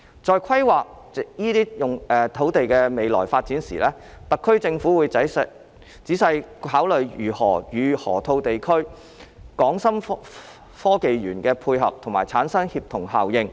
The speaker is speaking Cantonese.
在規劃這些土地的未來發展時，特區政府會仔細考慮如何與河套地區的港深創科園配合及產生協同效應。